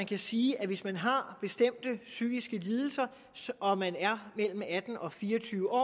vi sige at hvis man har bestemte psykiske lidelser og man er mellem atten og fire og tyve år